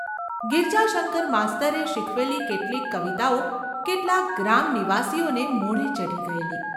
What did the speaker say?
ગિરજાશંકર માસ્તરે શીખવેલી કેટલીક કવિતાઓ કેટલાક ગ્રામનિવાસીઓને મોઢે ચઢી ગયેલી.